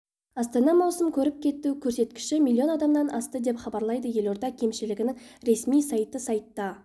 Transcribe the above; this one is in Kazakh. астана маусым көріп кету көрсеткіші млн адамнан асты деп хабарлады елорда кемшілігінің ресми сайты сайтта